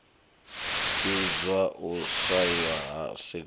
idzwo u swaiwa ha seed